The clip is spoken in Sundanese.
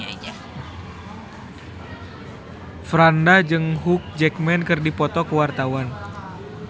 Franda jeung Hugh Jackman keur dipoto ku wartawan